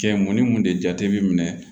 Cɛ mun ni mun de jate bi minɛ